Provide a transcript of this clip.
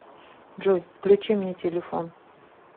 джой включи мне телефон